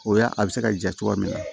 O y'a a bɛ se ka ja cogoya min